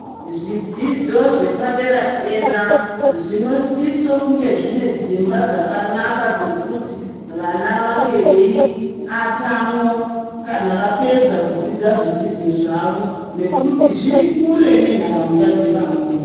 Zvidzidzo zvepa dera dera zvino siso kunge zvino sise kunge zvine dzimba dzakanaka dzekuti vana vange vei atamwao kana vapedza kudzidza zvidzidzo zvavo nekuti zviri kure ne nharaunda dze amweni.